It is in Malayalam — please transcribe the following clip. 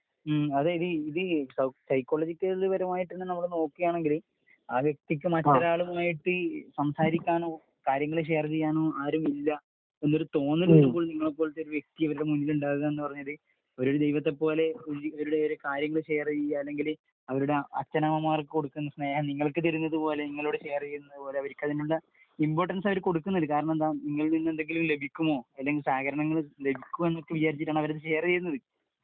ങ് -- അത് ഇത് സൈക്കോളജിക്കൽ പരമായിട്ട് നമ്മൾ നോക്കുകയാണെങ്കില് ആ വ്യക്തിയ്ക്ക് മറ്റൊരാളുമായിട്ട് സംസാരിക്കാനോ കാര്യങ്ങള് ഷെയർ ചെയ്യാനോ ആരുമില്ല എന്നൊരു തോന്നല് നിങ്ങളെപ്പോലത്തെ ഒരു വ്യക്തി അവരുടെ മുന്നിലുണ്ടാവുക എന്ന് പറഞ്ഞാല്‍ ഒരു ദൈവത്തെപ്പോലെ ഇവരുടെ ഒരു കാര്യങ്ങൾ ഷെയർ ചെയ്യുക അല്ലെങ്കില്‍ അവരുടെ അച്ചനമ്മമാർക്കു കൊടുക്കേണ്ട സ്നേഹം നിങ്ങൾക്ക് തരുന്നതുപോലെ നിങ്ങളോടു ഷെയർ ചെയ്യുന്നതുപോലെ അവർക്കു അതിനുള്ള ഇമ്പോര്ടൻസ് അവർക്ക് കൊടുക്കുന്നുണ്ട് കാരണമെന്തെന്നു വച്ചാല് നിങ്ങളിൽ നിന്നും എന്തെങ്കിലും ലഭിക്കുമോ അല്ലെങ്കിൽ സഹകരണം ലഭിക്കുമോ എന്നൊക്കെ വിചാരിച്ചാണ് അവർ അത് ഷെയർ ചെയ്യുന്നത്.